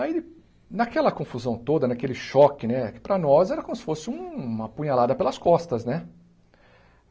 Aí, naquela confusão toda, naquele choque, né, para nós era como se fosse uma apunhalada pelas costas, né?